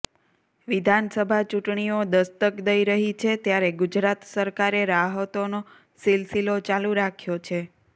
વિધાનસભા ચૂંટણીઓ દસ્તક દઇ રહી છે ત્યારે ગુજરાત સરકારે રાહતોનો સિલસિલો ચાલુ રાખ્યો છે